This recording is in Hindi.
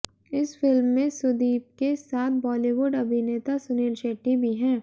इस फिल्म में सुदीप के साथ बॉलीवुड अभिनेता सुनील शेट्टी भी हैं